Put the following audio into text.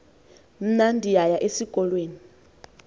mna ndiyaya esikolweni